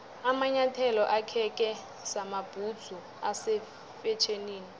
amanyathelo akheke samabhudzu ase fetjhenini